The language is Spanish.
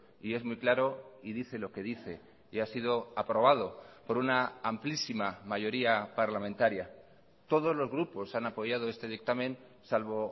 y es muy claro y dice lo que dice y ha sido aprobado por una amplísima mayoría parlamentaria todos los grupos han apoyado este dictamen salvo